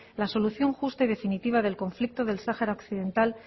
la solución justa y definitiva del conflicto del sahara occidental